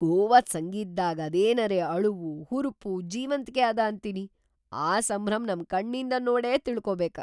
ಗೋವಾದ್‌ ಸಂಗೀತ್‌ದಾಗ್‌ ಅದೇನರೇ ಅಳವು, ಹುರ್ಪು, ಜೀವಂತ್ಕೆ ಅದ ಅಂತಿನಿ, ಆ ಸಂಭ್ರಮ್ ನಮ್‌ ಕಣ್ನಿಂದ ನೋಡೇ ತಿಳಕೋಬೇಕ.